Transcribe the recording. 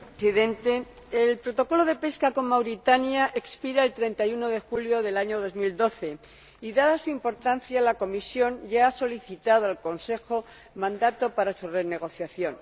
Señor Presidente, el Protocolo de pesca con Mauritania expira el 31 de julio de 2012 y, dada su importancia, la Comisión ya ha solicitado al Consejo el mandato para su renegociación.